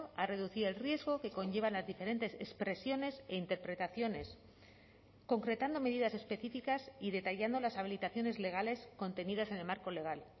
a reducir el riesgo que conllevan las diferentes expresiones e interpretaciones concretando medidas específicas y detallando las habilitaciones legales contenidas en el marco legal